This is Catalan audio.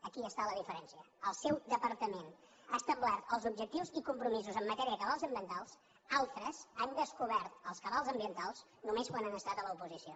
aquí està la diferència el seu departament ha establert els objectius i compromisos en matèria de cabals ambientals altres han descobert els cabals ambientals només quan han estat a l’oposició